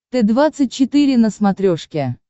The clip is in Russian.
т двадцать четыре на смотрешке